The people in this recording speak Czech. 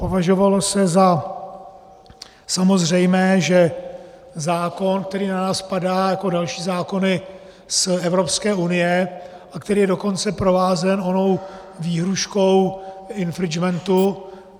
Považovalo se za samozřejmé, že zákon, který na nás padá, jako další zákony z Evropské unie, a který je dokonce provázen onou výhrůžkou infringementu...